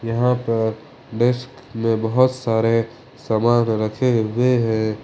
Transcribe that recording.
यहां पर डेस्क में बहुत सारे सामान रखें हुए है।